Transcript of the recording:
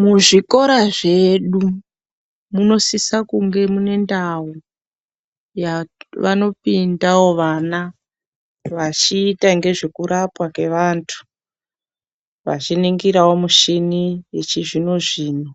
Muzvikora zvedu munosisa kunge mune ndau, yavanopindawo vana vachiita ngezvekurapwa kwevantu, vachiningirawo muchini yechizvino-zvino